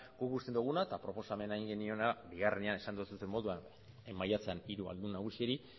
guk uste duguna eta proposamena egin geniona bigarrenean esan didazun moduan maiatzean hiru aldun nagusiei